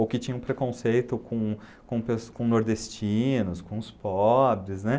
Ou que tinham preconceito com com pesso com nordestinos, com os pobres, né?